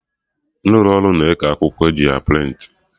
Ndị ụlọ ọrụ na-eke akwụkwọ eji a prịntị